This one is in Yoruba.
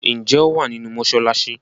ǹjẹ́ ó wà nínú “ mọsálásí”?